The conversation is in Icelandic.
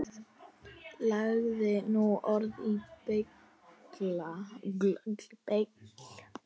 Lagði nú orð í belg.